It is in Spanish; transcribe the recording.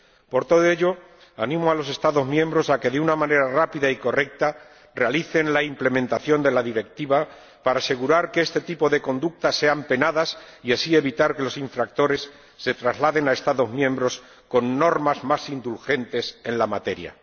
Por todo ello, animo a los Estados miembros a que, de una manera rápida y correcta, realicen la implementación de la Directiva para asegurar que este tipo de conductas sean penadas y así evitar que los infractores se trasladen a Estados miembros con normas más indulgentes en la materia.